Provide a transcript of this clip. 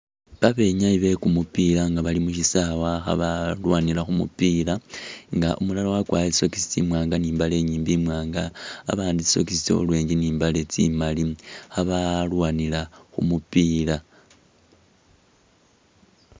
Babenyayi bekumupila nga bali musisawe nga khabalwanila khumupila nga umulala wakwarile tsisokis tsi'mwanga ni'mbale inyiimbi imwanga abandi tsisokis tsa'orange ni'mbale tsimaali khabalwanila khumupila